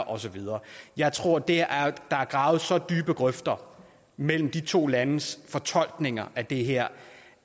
og så videre jeg tror at der er gravet så dybe grøfter mellem de to landes fortolkninger af det her